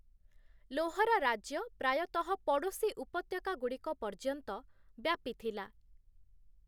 ଲୋହରା ରାଜ୍ୟ ପ୍ରାୟତଃ ପଡ଼ୋଶୀ ଉପତ୍ୟକାଗୁଡ଼ିକ ପର୍ଯ୍ୟନ୍ତ ବ୍ୟାପିଥିଲା ।